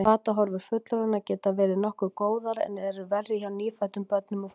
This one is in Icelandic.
Batahorfur fullorðinna geta verið nokkuð góðar en eru verri hjá nýfæddum börnum og fóstrum.